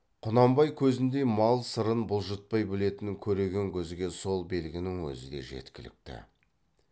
құнанбай көзіндей мал сырын бұлжытпай білетін көреген көзге сол белгінің өзі де жеткілікті